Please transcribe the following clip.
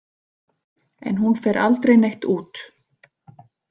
En hún fer aldrei neitt út.